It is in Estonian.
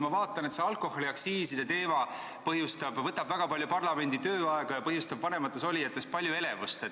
Ma vaatan, et alkoholiaktsiisi teema võtab väga palju parlamendi tööaega ja põhjustab vanemates olijates palju elevust.